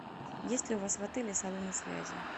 есть ли у вас в отеле салоны связи